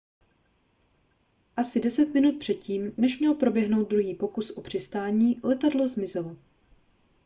asi deset minut před tím než měl proběhnout druhý pokus o přistání letadlo zmizelo